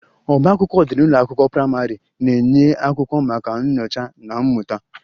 Ọbá akwụkwọ dị n'ụlọ akwụkwọ praịmarị na-enye akwụkwọ maka nyocha na mmụta